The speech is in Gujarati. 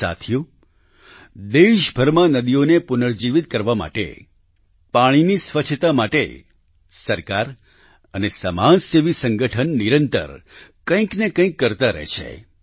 સાથીઓ દેશભરમાં નદીઓને પુનઃજીવિત કરવા માટે પાણીની સ્વચ્છતા માટે સરકાર અને સમાજસેવી સંગઠન નિરંતર કંઈક ને કંઈક કરતા રહે છે